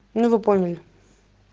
ну вы поняли